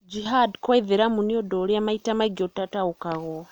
Jihad kwa Aithĩramu nĩ ũndũ ũrĩa maita maingĩ utataũkagwo.